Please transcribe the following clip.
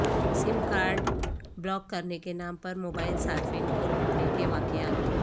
سم card block کرنے کے نام پر موبائیل صارفین کو لوٹنے کے واقعات